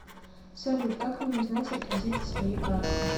салют как мне узнать реквизиты своей карты